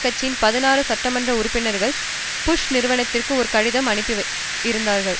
கட்சியின் பதினாறு சட்டமன்ற உறுப்பினர்கள் புஷ் நிர்வாகத்திற்கு ஒரு கடிதம் அனுப்பி இருந்தார்கள்